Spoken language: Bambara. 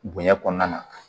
Bonya kɔnɔna na